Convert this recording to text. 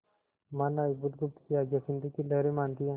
महानाविक बुधगुप्त की आज्ञा सिंधु की लहरें मानती हैं